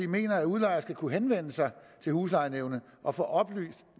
mener at udlejer skal kunne henvende sig til huslejenævnet og få oplyst